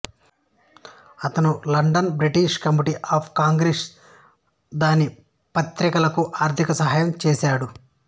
అతను London British committee of Congress దాని పత్రికలకు ఆర్థిక సహాయం చేసాడు